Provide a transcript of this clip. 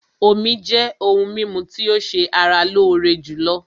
Omí jẹ́ òhún mímú tí o ṣé ara lóore jùlọ.